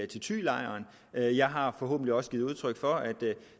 til thylejren jeg har forhåbentlig også givet udtryk for at